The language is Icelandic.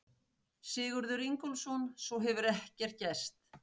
Sigurður Ingólfsson: Svo hefur ekkert gerst?